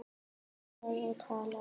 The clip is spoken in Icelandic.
Talaði og talaði.